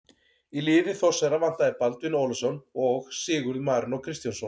Í liði Þórsara vantaði Baldvin Ólafsson og Sigurð Marinó Kristjánsson.